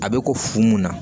A bɛ ko fu mun na